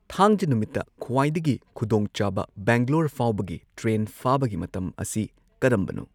ꯊꯥꯡꯖ ꯅꯨꯃꯤꯠꯇ ꯈ꯭ꯋꯥꯏꯗꯒꯤ ꯈꯨꯗꯣꯡꯆꯥꯕ ꯕꯦꯡꯒ꯭ꯂꯣꯔ ꯐꯥꯎꯕꯒꯤ ꯇ꯭ꯔꯦꯟ ꯐꯥꯕꯒꯤ ꯃꯇꯝ ꯑꯁꯤ ꯀꯔꯝꯕꯅꯣ?